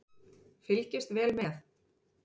Fylgist vel með